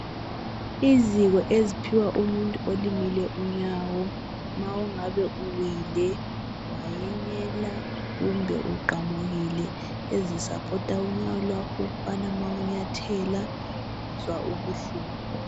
Iziko eziphiwa umuntu olimele unyawo ma engabe uwile, wayenyela kumbe uqamukile ezi supporter unyawo lwakho ukubana ma unyathela ungazwa kubuhlungu.